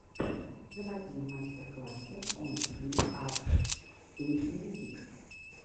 заводи мастер классы эм фри ар кей мьюзик